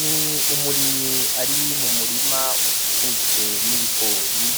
Ni umurimyi ari mumurima ukikujwe n'ibigori